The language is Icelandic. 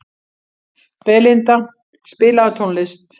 Belinda, spilaðu tónlist.